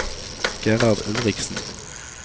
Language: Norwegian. Gerhard Ulriksen